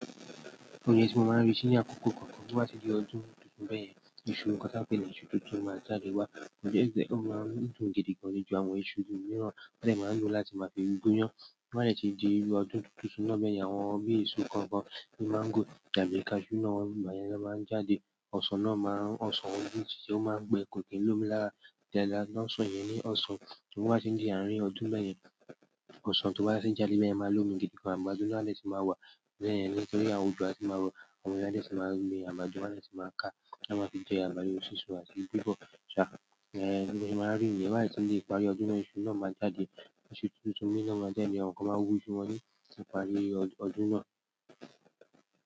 Oúnjẹ tí mo máa ń rí sí ní àkókò kọ̀ọ̀kan, ro ba ti di ọdún tuntun bẹ́yẹn, iṣu nǹkan tí a pè ní iṣu tuntun máa jáde wá. Òunjẹ o si jẹ, ó máa ń dùn gidi gan-an jù àwọn iṣu mìíràn, won dẹ máá n lo láti máa fi gúnyán. To ba dẹ ti di ọdún tuntun isu náà bẹyẹn, àwọn bi isu nkankan bi mango tàbí cashew náà maa n jáde. Ọ̀sàn náà máa ń, ọ̀sán oun ti tiẹ o máa ń gbẹ ko ki n lómi lára dáadáa náà. Ọ̀sán yìí ni ọ̀sán tí wọ́n bá ṣe ń di àárín ọdún bẹ́ẹ̀ yẹn, ọ̀sán tí wọ́n bá ṣe ń jáde bẹ́ẹ̀ yẹn máa lómi gidi gan-an. Àgbàdo náà a dẹ sì máa wà bẹ́yẹn nítorí àwọn òjò a tì máa rọ, àwọn èèyàn a dẹ ti máa ń gbin àgbàdo won a dẹ tì máa ká, a maá fì jẹ àgbàdo sísun àti bibọ ṣá. Hẹn bi gbogbo se maa n ri niyẹn, to ba tun di ìparí ọdún náà isu náà maa jáde iṣu tuntun mìíràn náà jáde, àwọn kan máa wú iṣu wọn ní ìparí ọdún náà.